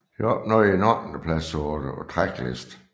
Det opnåede en ottendeplads på Tracklisten